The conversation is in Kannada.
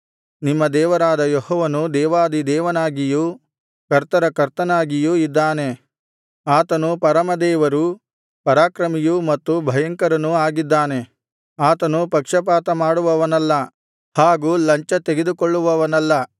ನಿಮ್ಮ ದೇವರಾದ ಯೆಹೋವನು ದೇವಾಧಿದೇವನಾಗಿಯೂ ಕರ್ತರ ಕರ್ತನಾಗಿಯೂ ಇದ್ದಾನೆ ಆತನು ಪರಮದೇವರೂ ಪರಾಕ್ರಮಿಯೂ ಮತ್ತು ಭಯಂಕರನೂ ಆಗಿದ್ದಾನೆ ಆತನು ಪಕ್ಷಪಾತ ಮಾಡುವವನಲ್ಲ ಹಾಗೂ ಲಂಚತೆಗೆದುಕೊಳ್ಳುವವನಲ್ಲ